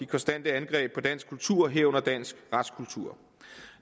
konstante angreb på dansk kultur herunder dansk retskultur